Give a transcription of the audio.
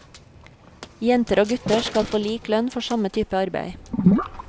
Jenter og gutter skal få lik lønn for samme type arbeid.